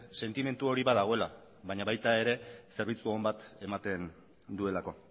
sentimendu hori badagoela baina baita ere zerbitzu on bat ematen duelako